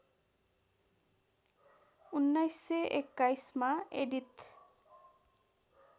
१९२१ मा एडिथ